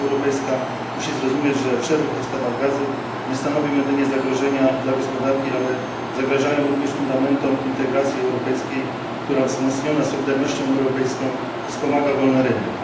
Unia Europejska musi zrozumieć, że przerwy w dostawach gazu nie stanowią jedynie zagrożenia dla gospodarki, ale zagrażają również fundamentom integracji europejskiej, która wzmocniona solidarnością europejską wspomaga wolny rynek.